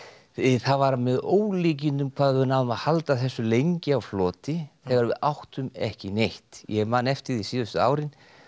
það var með ólíkindum hvað við náðum að halda þessu lengi á floti þegar við áttum ekki neitt ég man eftir því síðustu árin